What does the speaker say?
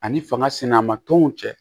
Ani fanga sinama tɔnw cɛ